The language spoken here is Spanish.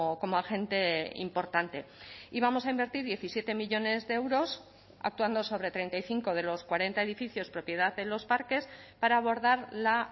como agente importante y vamos a invertir diecisiete millónes de euros actuando sobre treinta y cinco de los cuarenta edificios propiedad de los parques para abordar la